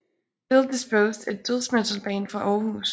Illdisposed er et dødsmetalband fra Århus